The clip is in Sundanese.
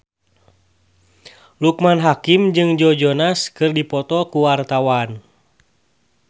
Loekman Hakim jeung Joe Jonas keur dipoto ku wartawan